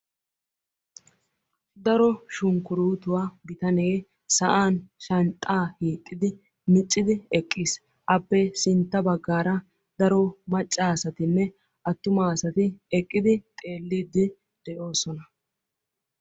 Daro shukurutuwaa bitanee sa'an shanxxaa hiixxidi miccidi eqqiis. appe sintta baggaara daro macca asatinne attuma asati eqqidi xeellidi de'oosona.